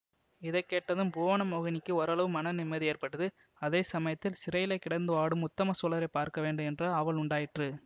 இதை கேட்டதும் புவனமோகினிக்கு ஓரளவு மன நிம்மதி ஏற்பட்டது அதே சமயத்தில் சிறையிலே கிடந்து வாடும் உத்தம சோழரை பார்க்க வேண்டும் என்ற ஆவல் உண்டாயிற்று